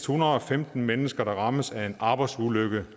hundrede og femten mennesker der rammes af en arbejdsulykke